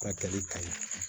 Ka tali ka ɲi